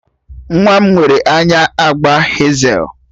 Nwa m nwere anya agba hezel